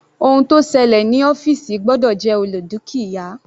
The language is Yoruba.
Ohun tó ṣẹlẹ̀ ní ọ́fìsì gbọ́dọ̀ jẹ́ olè dúkìá.